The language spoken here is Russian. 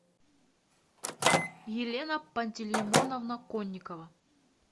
елена пантелеймоновна конникова